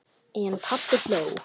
En pabbi hló.